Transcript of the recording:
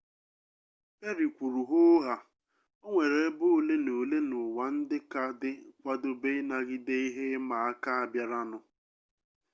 perry kwuru hoo haa o nwere ebe ole na ole n'ụwa ndị ka dị kwadobe ịnagide ihe ịma aka a bịaranụ